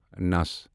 نَس